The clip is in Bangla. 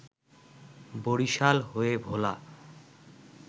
বরিশাল হয়ে ভোলা